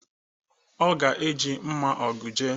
Ọ ga-eji mma Ọgụ jee.